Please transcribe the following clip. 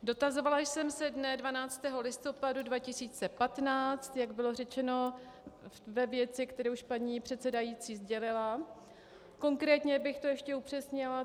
Dotazovala jsem se dne 12. listopadu 2015, jak bylo řečeno, ve věci, kterou už paní předsedající sdělila, konkrétně bych to ještě upřesnila.